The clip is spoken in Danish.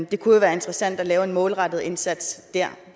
det kunne jo være interessant at lave en målrettet indsats